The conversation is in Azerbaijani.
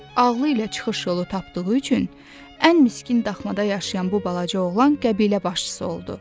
ağılı ilə çıxış yolu tapdığı üçün ən miskin daxmada yaşayan bu balaca oğlan qəbilə başçısı oldu.